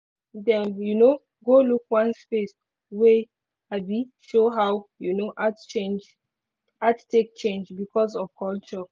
dem um go look one space wey um show how um art change art take change because of culture.